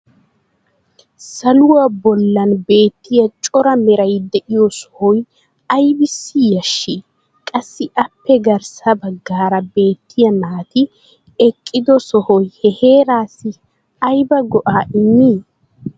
Saluwaa bollan beettiya cora meray de'iyo sohoy aybissi yashii? Qassi appe garssa bagaara beettiya naati eqqido sohoy ha heeraassi aybba go'aa immii?